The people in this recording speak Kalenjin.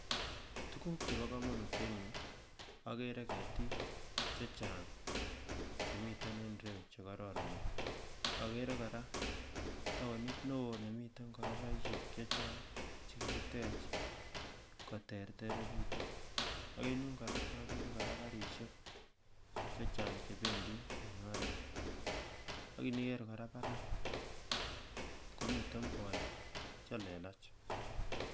Tukuk chepokomonut en yu akere ketik chechang' chemiten en ireyu chekororonen ,akere kora taonit neo nemiten koropaisiek che chang' chekikitech koterterekitu aken yun kora akere kora karisiek che cheng' chebendi en oret akiniker kora parak komiten bolik chelelach.